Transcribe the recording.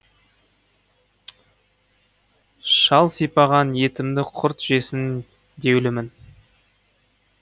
шал сипаған етімді құрт жесін деулімін